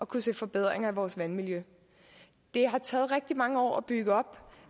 kunne se forbedringer af vores vandmiljø det har taget rigtig mange år at bygge op